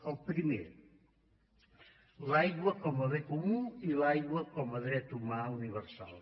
el primer l’aigua com a bé comú i l’aigua com a dret humà universal